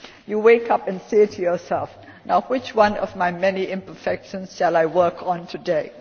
You wake up and say to yourself Now, which one of my many imperfections shall I work on today?'